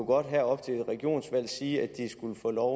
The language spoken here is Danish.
godt her op til et regionsvalg sige at de skulle få lov